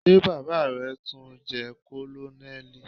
Ṣé baba rẹ tun jẹ Kònónélì?